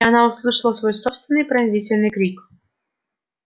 её горло сжалось и она услышала свой собственный пронзительный крик